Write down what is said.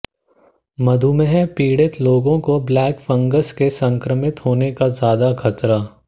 मधुमेह पीड़ित लोगों को ब्लैक फंगस से संक्रमित होने का ज्यादा खतरा